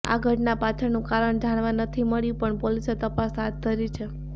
આ ઘટના પાછળનું કારણ જાણવા નથી મળ્યું પણ પોલીસે તપાસ હાથ ધરી છે